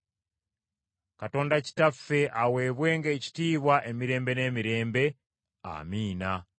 Katonda Kitaffe aweebwenga ekitiibwa emirembe n’emirembe. Amiina.